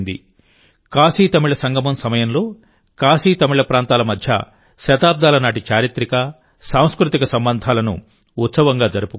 కాశీతమిళ సంగమం సమయంలోకాశీతమిళ ప్రాంతాల మధ్య శతాబ్దాల నాటి చారిత్రక సాంస్కృతిక సంబంధాలను ఉత్సవంగా జరుపుకున్నారు